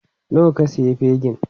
Nawa ka sayi fegin?